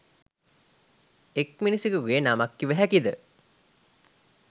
එක් මිනිසෙකුගේ නමක් කිව හැකිද?